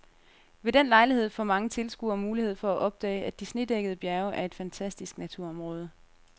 Ved den lejlighed får mange tilskuere mulighed for at opdage, at de snedækkede bjerge er et fantastisk naturområde.